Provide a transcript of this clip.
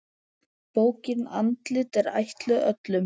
Bókin Andlit er ætluð öllum.